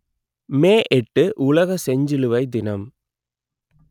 மே எட்டு உலக செஞ்சிலுவை தினம்